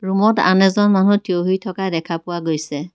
ৰূমত আন এজন মানুহ থিয়হি থকা দেখা পোৱা গৈছে।